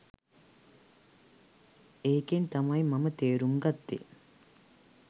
එකෙන් තමයි මම තේරුම් ගත්තේ